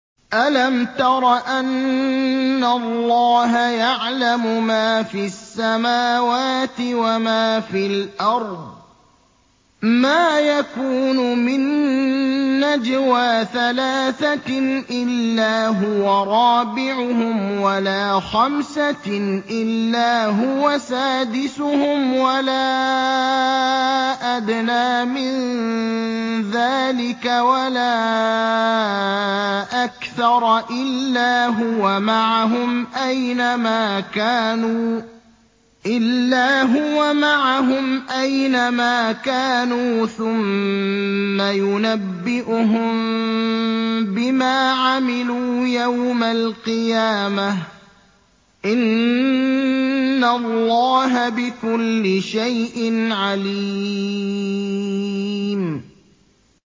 أَلَمْ تَرَ أَنَّ اللَّهَ يَعْلَمُ مَا فِي السَّمَاوَاتِ وَمَا فِي الْأَرْضِ ۖ مَا يَكُونُ مِن نَّجْوَىٰ ثَلَاثَةٍ إِلَّا هُوَ رَابِعُهُمْ وَلَا خَمْسَةٍ إِلَّا هُوَ سَادِسُهُمْ وَلَا أَدْنَىٰ مِن ذَٰلِكَ وَلَا أَكْثَرَ إِلَّا هُوَ مَعَهُمْ أَيْنَ مَا كَانُوا ۖ ثُمَّ يُنَبِّئُهُم بِمَا عَمِلُوا يَوْمَ الْقِيَامَةِ ۚ إِنَّ اللَّهَ بِكُلِّ شَيْءٍ عَلِيمٌ